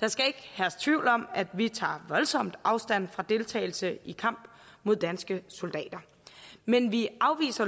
der skal ikke herske tvivl om at vi tager voldsomt afstand fra deltagelse i kamp mod danske soldater men vi afviser